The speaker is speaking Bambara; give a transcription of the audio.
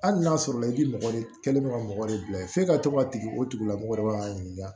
Hali n'a sɔrɔ i bi mɔgɔ de kɛ ka mɔgɔ de bila yen f'e ka to ka tigi o tigilamɔgɔ de k'a ɲininka